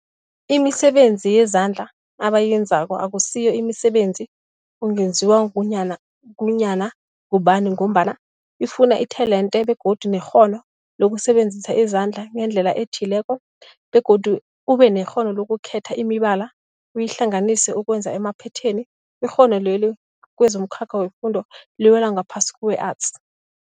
Imisebenzi yezandla abayenzako akusiyo imisebenzi ungenziwa ngunyana ngunyana ngubani mgombana ifuna itelente begodu nekghono lokusebenzisa izandla ngendlela ethile, begodu ubenekghono lokukhetha imibala uyihlanganise ukwenza amaphetheni. Ikghono leli kwezomkhakha wefundo liwela ngaphasi kwe-Arts.